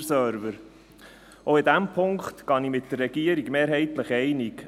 – Schweizer Server: Auch in diesem Punkt gehe ich mit der Regierung mehrheitlich einig.